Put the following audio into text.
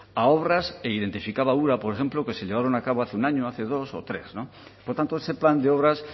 a obras e identificaba ura por ejemplo que se llevaron a cabo hace un año hace dos o tres por tanto ese plan de obras